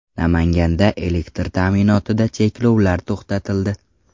Namanganda elektr ta’minotida cheklovlar to‘xtatildi.